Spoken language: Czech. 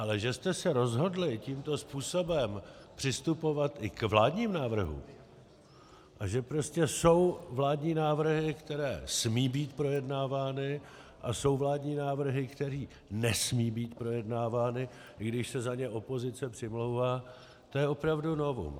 Ale že jste se rozhodli tímto způsobem přistupovat i k vládním návrhům a že prostě jsou vládní návrhy, které smí být projednávány, a jsou vládní návrhy, které nesmí být projednávány, i když se za ně opozice přimlouvá, to je opravdu novum.